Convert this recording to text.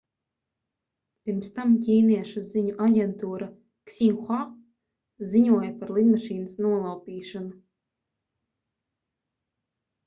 pirms tam ķīniešu ziņu aģentūra xinhua ziņoja par lidmašīnas nolaupīšanu